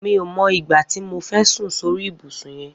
Mi ó mọ igbá ti mó fẹ̀ sùn sóri ibùsùn yèn